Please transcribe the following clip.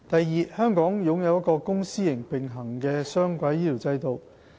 二香港擁有一個公私營並行的雙軌醫療制度。